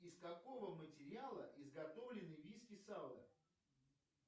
из какого материала изготовлены виски сало